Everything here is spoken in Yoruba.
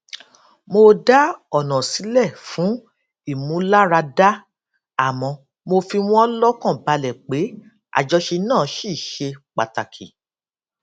mo dá ònà sílè fún ìmúláradá àmó mo fi wón lókàn balè pé àjọṣe náà ṣì ṣe pàtàkì